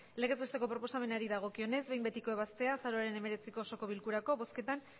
legez besteko proposamenari dagokionez behin betiko ebaztea azaroaren hemeretziko osoko bilkurako bozketan